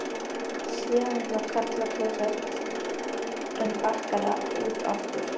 Síðan inn á karlaklósett en bakkaði út aftur.